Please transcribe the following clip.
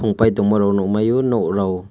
tongpai rok nogmai o noglai o.